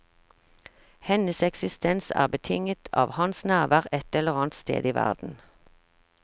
Hennes eksistens er betinget av hans nærvær et eller annet sted i verden.